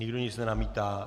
Nikdo nic nenamítá?